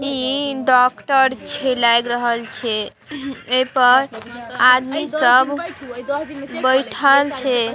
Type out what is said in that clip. ई doctor छे लाईग रहल छे। ऐपर आदमी सब बैठल छे।